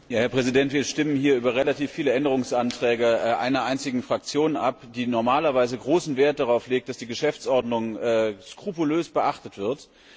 Herr Präsident! Wir stimmen hier über relativ viele Änderungsanträge einer einzigen Fraktion ab, die normalerweise großen Wert darauf legt, dass die Geschäftsordnung skrupulös beachtet wird.